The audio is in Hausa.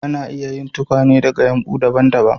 Ana iya yin tukwane daga yumɓu daban-daban.